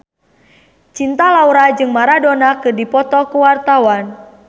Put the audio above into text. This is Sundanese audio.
Cinta Laura jeung Maradona keur dipoto ku wartawan